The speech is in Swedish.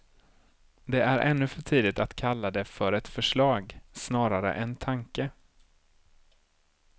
Det är ännu för tidigt att kalla det för ett förslag, snarare en tanke.